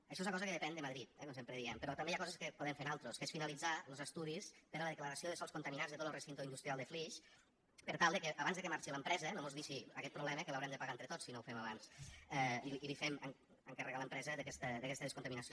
això és una cosa que depèn de madrid eh com sempre diem però també hi ha coses que podem fer nosaltres que és finalitzar los estudis per a la declaració de sòls contaminats de tot lo recinte industrial de flix per tal que abans que marxi l’empresa no mos deixi aquest problema que l’haurem de pagar entre tots si no ho fem abans i li fem encarregar a l’empresa aquesta descontaminació